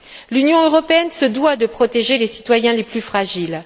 L'Union européenne se doit de protéger les citoyens les plus fragiles.